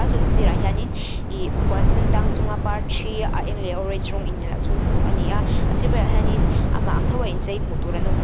sirah hianin ih puan sendang chunga par thi a eng leh a orange rawnga in englo chu hmuh a ni a a sir velah hianin amah ang thoa inchei hmuh tur an awm b --